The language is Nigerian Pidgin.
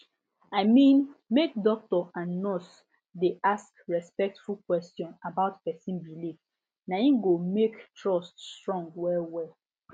i mean make doctor and nurse dey ask respectful question about person beliefna him go make trust strong well well